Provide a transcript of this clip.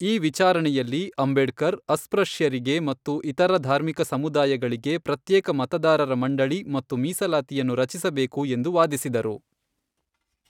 ಈ ವಿಚಾರಣೆಯಲ್ಲಿ, ಅಂಬೇಡ್ಕರ್ ಅಸ್ಪೃಶ್ಯರಿಗೆ ಮತ್ತು ಇತರ ಧಾರ್ಮಿಕ ಸಮುದಾಯಗಳಿಗೆ ಪ್ರತ್ಯೇಕ ಮತದಾರರ ಮಂಡಳಿ ಮತ್ತು ಮೀಸಲಾತಿಯನ್ನು ರಚಿಸಬೇಕು ಎಂದು ವಾದಿಸಿದರು.